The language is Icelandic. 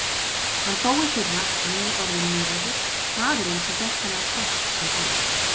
Hann dó í fyrra, nýorðinn níræður, maðurinn sem fékk þennan kross sem barn.